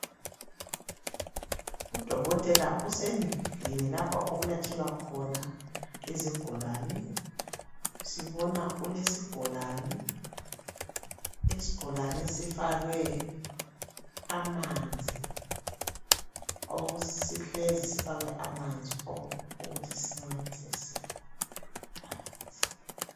Udokotela usendlini lapho okulatshelwa khona izigulane. Sibona ulesigulane, isigulane esifakwe amanzi oku sihlezi sifakwe amanzi okuthi sincedise phakathi